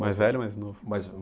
Mais velho ou mais novo? Mais